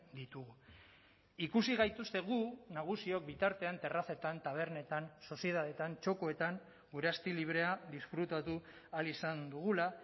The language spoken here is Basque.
ditugu ikusi gaituzte gu nagusiok bitartean terrazetan tabernetan sozietateetan txokoetan gure asti librea disfrutatu ahal izan dugula